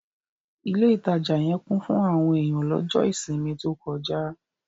Ilé ìtajà yẹn kún fún àwọn èyàn lọ́jọ́ ìsinmi tó kọjá.